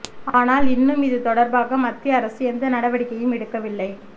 ஆனால் இன்னும் இது தொடர்பாக மத்திய அரசு எந்த நடவடிக்கையும் எடுக்கவில்லை